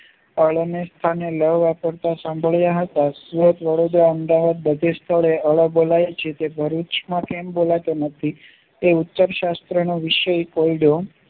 સાંભર્યા હતા સુરત વડૉદરા અમદાવાદ બધે સ્થળે ળ બોલાય છે તે ભરૂચ માં કેમ બોલાતું નથી એ ઉત્તર શાસ્ત્રનો વિષય કહ્યો